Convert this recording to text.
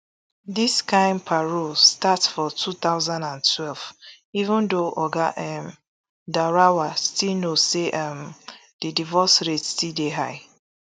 dis kain parole start for two thousand and twelve even though oga um daurawa still know say um di divorce rates still dey high